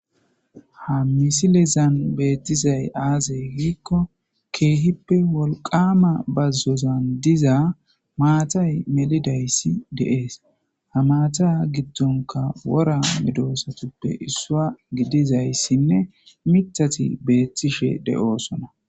Ha misilezan beettizay aazey giikko keehippe wolqama bazzozan diza maatay melidayssi de7ees ha maata giddonka wora midoosatuppe issua gidizayssinne mitati beettishe de7oosona.